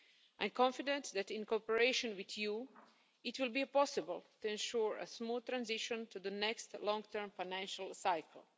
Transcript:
I am confident that, in cooperation with you, it will be possible to ensure a smooth transition to the next long term financial cycle.